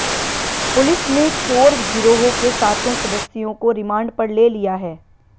police ने चोर गिरोह के सातों सदस्यों को रिमांड पर ले लिया है